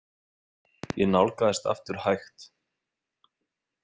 Ég nálgaðist aftur hægt.